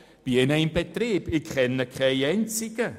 Ich kenne keine einzige solche Unternehmung!